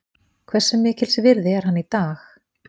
Hversu mikils virði er hann í dag?